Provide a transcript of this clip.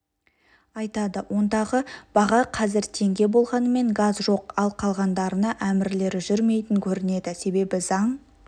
айтады ондағы баға қазір теңге болғанымен газ жоқ ал қалғандарына әмірлері жүрмейтін көрінеді себебі заң